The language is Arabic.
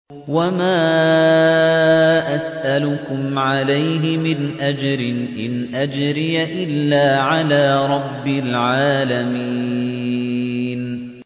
وَمَا أَسْأَلُكُمْ عَلَيْهِ مِنْ أَجْرٍ ۖ إِنْ أَجْرِيَ إِلَّا عَلَىٰ رَبِّ الْعَالَمِينَ